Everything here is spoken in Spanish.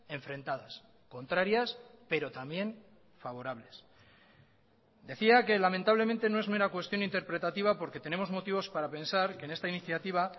enfrentadas contrarias pero también favorables decía que lamentablemente no es mera cuestión interpretativa porque tenemos motivos para pensar que en esta iniciativa